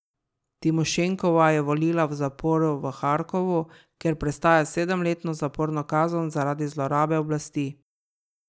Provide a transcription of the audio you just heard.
Timošenkova je volila v zaporu v Harkovu, kjer prestaja sedemletno zaporno kazen zaradi zlorabe oblasti.